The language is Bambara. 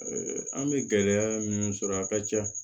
an bɛ gɛlɛya minnu sɔrɔ a ka ca